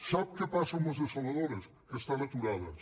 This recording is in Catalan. sap què passa amb les dessaladores que estan aturades